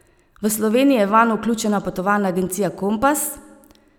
V Sloveniji je vanj vključena potovalna agencija Kompas.